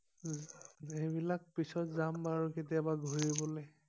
উম সেই বিলাক পিছত যাম বাৰু কেতিয়াবা ঘূৰিবলে